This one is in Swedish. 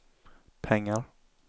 pengar